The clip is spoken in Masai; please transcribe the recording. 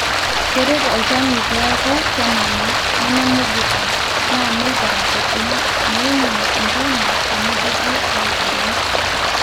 keret olchoni peeku kenana, nememuguta naa neitaa kiti meimin ntona teneidipi aitayu